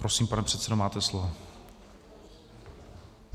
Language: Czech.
Prosím, pane předsedo, máte slovo.